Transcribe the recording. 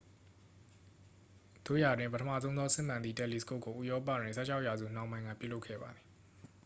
သို့ရာတွင် ပထမဆုံးသော စစ်မှန်သည့်တယ်လီစကုပ်ကို ဥရောပတွင် 16 ရာစုနှောင်းပိုင်းက ပြုလုပ်ခဲ့ပါသည်